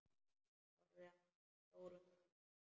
Horfði á hana stórum augum.